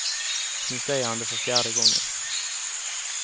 Nu säger han det för fjärde gången.